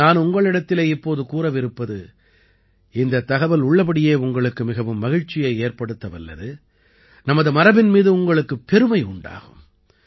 நான் உங்களிடத்திலே இப்போது கூறவிருப்பது இந்தத் தகவல் உள்ளபடியே உங்களுக்கு மிகவும் மகிழ்ச்சியை ஏற்படுத்த வல்லது நமது மரபின் மீது உங்களுக்குப் பெருமை உண்டாகும்